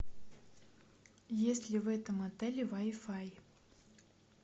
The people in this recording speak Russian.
есть ли в этом отеле вай фай